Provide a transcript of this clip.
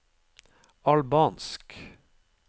albansk